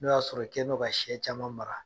N'o y'a sɔrɔ i kɛlen don ka siyɛ caman mara.